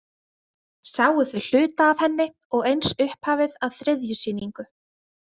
Sáu þau hluta af henni og eins upphafið að þriðju sýningu.